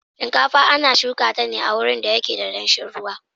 Shinkafa ana shuka ta ne a wurin da yake da danshin ruwa.